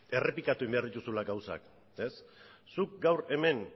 errepikatu egin behar dituzula gauzak zuk gaur hemen